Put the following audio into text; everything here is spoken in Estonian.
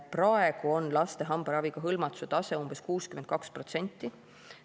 Praegu on laste hambaraviga hõlmatuse tase umbes 62%.